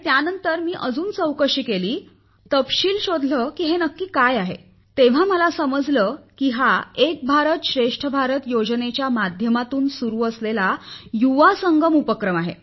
त्यानंतर मी अजून चौकशी केली तपशील शोधले की हे काय आहे तेव्हा मला समजले की हा एक भारत श्रेष्ठ भारत योजनेच्या माध्यमातून सुरु असलेला युवा संगम उपक्रम आहे